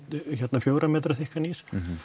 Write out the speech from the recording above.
fjögurra metra þykkan ís